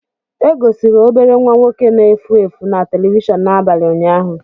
E gosiri obere nwa nwoke na-efu efu na telivishọn n'abalị ụnyaahụ.